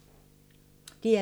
DR2